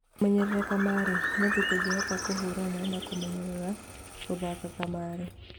Kũmenyerera kamarĩ: Nĩ atĩa tũngĩhota kũhũrana na kũmenyera gũthaka kamarĩ